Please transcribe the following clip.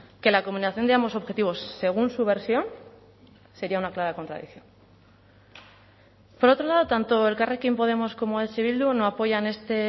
que la combinación de ambos objetivos según su versión sería una clara contradicción por otro lado tanto elkarrekin podemos como eh bildu no apoyan este